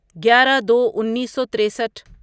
گیارہ دو انیسو تریسٹھ